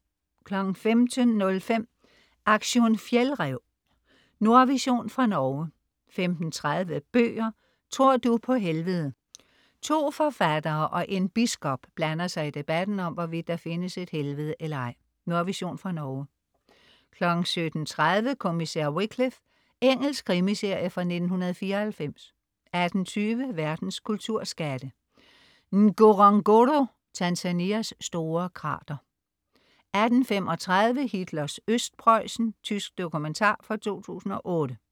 15.05 Aktion fjeldræv. Nordvision fra Norge 15.30 Bøger: Tror du på helvede. To forfattere og en biskop blander sig i debatten om, hvorvidt der findes et helvede eller ej. Nordvision fra Norge 17.30 Kommissær Wycliffe. Engelsk krimiserie fra 1994 18.20 Verdens kulturskatte. Ngorongoro, Tanzanias store krater 18.35 Hitlers Østpreussen. Tysk dokumentar fra 2008